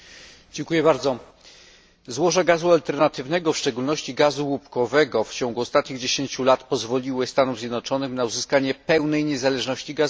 Pani Przewodnicząca! Złoża gazu alternatywnego, w szczególności gazu łupkowego, w ciągu ostatnich 10 lat pozwoliły Stanom Zjednoczonym na uzyskanie pełnej niezależności gazowej.